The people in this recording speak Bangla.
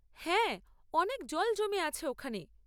হ্যাঁ, অনেক জল জমে আছে ওখানে।